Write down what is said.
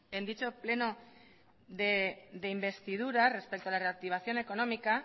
en dicho pleno de investidura respecto a la reactivación económica